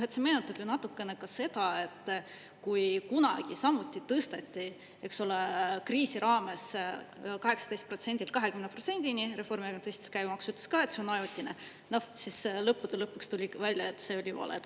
See meenutab ju natukene ka seda, kui kunagi samuti tõsteti, eks ole, kriisi raames 18%-lt 20%-ni, Reformierakond tõstis käibemaksu, ütles ka, et see on ajutine, siis lõppude lõpuks tuli ikkagi välja, et see oli vale.